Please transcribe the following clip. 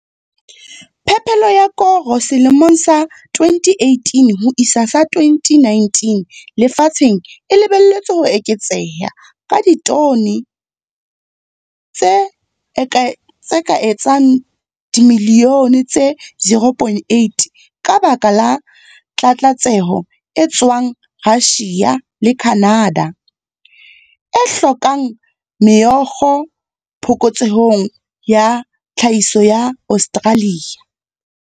PHEPELO YA KORO SELEMONG SA 2018-2019 LEFATSHENG E LEBELLETSWE HO EKETSEHA KA DITONE TSE KA ETSANG DIMILIONE TSE 0, 8 KA BAKA LA TLATSETSO E TSWANG RUSSIA LE CANADA, E HLAKOLANG MEOKGO PHOKOTSEHONG YA TLHAHISO YA AUSTRALIA.